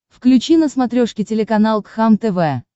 включи на смотрешке телеканал кхлм тв